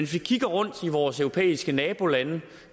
vi kigger rundt i vores europæiske nabolande